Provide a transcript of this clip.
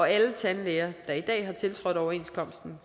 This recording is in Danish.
alle tandlæger der i dag har tiltrådt overenskomsten